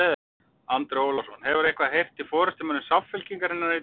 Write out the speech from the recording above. Andri Ólafsson: Hefurðu eitthvað heyrt í forystumönnum Samfylkingarinnar í dag?